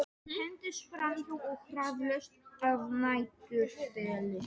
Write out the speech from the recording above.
Hendist framhjá eins og hraðlest að næturþeli.